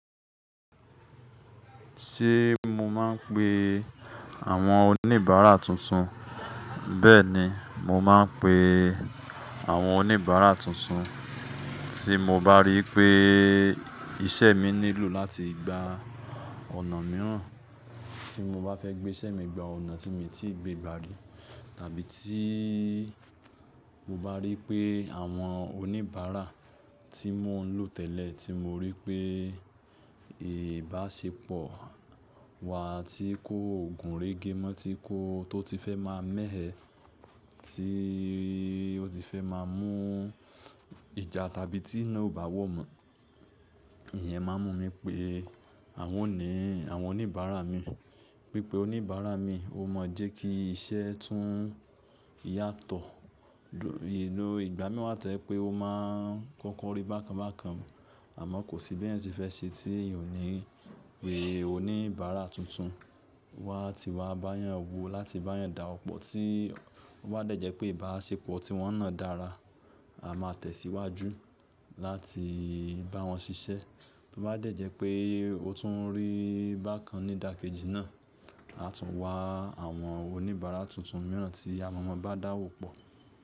Ṣé mo máa ń pe àwọn oníbàárà tuntun? Bẹ́ẹ̀ni, mo máa ń pe àwọn oníbàárà tuntun. Tí mo bá rí pé iṣẹ́ mi nílò láti gba ọ̀nà mìíràn, tí mo bá fẹ́ gbé iṣẹ́ mi gba ọ̀nà tí mi o ti gbé gba rí, tàbí tí mo bá rí pé àwọn oníbàárà tí mo ń lò tẹ́lẹ̀ tí mo rí pé ìbáṣepọ̀ wa ti kó gùn régémọ́ tí kò, tó ti fẹ́ máa mé ẹ, tí ó ti fẹ́ máa mú ìjà tàbí tí iná ò bá wọ̀ mọ́, ìyẹn máa ń mú mi pé àwọn ni àwọn oníbàárà mi. Pípé oníbàárà mi ó ma jẹ́ kí iṣẹ́ tún yàtọ̀. Ló, ìgbà mìi wa tojẹ̀ pé ó máa ń kọ́kọ́ rí bákan bákan, àmọ́ kò sí bí eyan se fẹ́ ṣe tí èyanò ní pè. Oníbàárà tuntun wá ti wá bá yàn wò láti bá yàn dá ọ̀pọ̀. Tí ó bá dẹ́jẹ́ pé ìbáṣepọ̀ tí wọ́n náà dára, a máa tẹ̀síwájú láti bá wọn ṣiṣẹ́. Bí ó bá dẹ́jẹ́ pé ó tún rí bákan ní dàkejì náà, a tún wá àwọn oníbàárà tuntun mìíràn tí a mọ̀ mọ́ bá dáwo pọ̀.